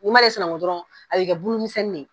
N'i m'ale sɛnango dɔrɔnw, a bɛ bulu misɛnni ye.